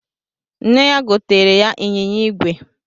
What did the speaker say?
Nne ya gotere ya ịnyịnya igwe